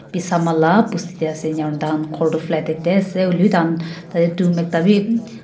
bisama la bosti tae ase enakurna tahan khor toh flattae he ase hoilae bi tahan tata dum ekta bi.